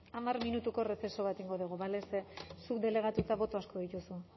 hamar minutuko receso bat egingo dugu bale ze zuk delegatuta boto asko dituzu